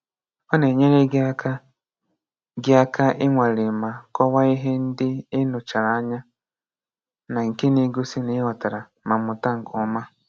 Ọ na-enyere gị aka gị aka ịnwale ma kọwaa ihe ndị ị nụchara anya na nke na-egosi na ị ghọtara ma mụta nke ọma.